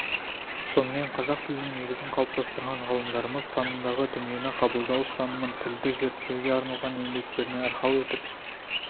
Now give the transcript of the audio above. сонымен қазақ тілінің негізін қалыптастырған ғалымдарымыз танымдағы дүниені қабылдау ұстанымын тілді зерттеуге арналған еңбектеріне арқау етіп